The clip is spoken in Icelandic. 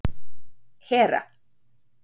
Hera